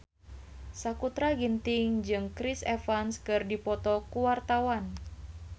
Sakutra Ginting jeung Chris Evans keur dipoto ku wartawan